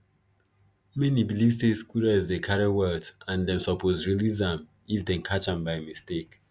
many believe say squirrels dey carry wealth and them suppose release am if them catch am by mistake